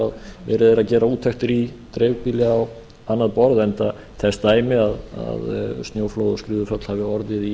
verið er að gera úttektir í dreifbýli á annað borð enda þess dæmi að snjóflóð og skriðuföll hafi orðið í